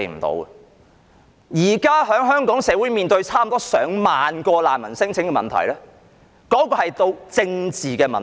現時香港社會面對接近上萬宗難民聲請，其實已經成為政治問題。